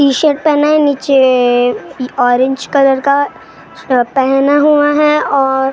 T shirt पहना है नीचे ऑरेंज कलर का पहना हुआ है और--